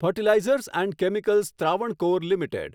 fertilizers and chemicals Travancore limited